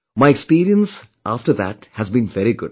My experience after that has been very good